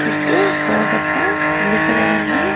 చుట్టూ బార్డర్ గా blue colour ఉంది.